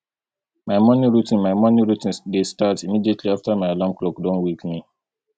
my morning routine my morning routine dey start immediately after my alarm clock don wake me